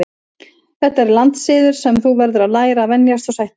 Þetta er landssiður sem þú verður að læra að venjast og sætta þig við.